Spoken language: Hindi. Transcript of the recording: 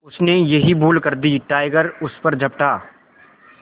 उसने यही भूल कर दी टाइगर उस पर झपटा